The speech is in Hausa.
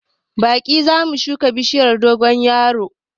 Baɗi zamu shuka bishiyar dogon yaro